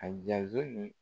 A .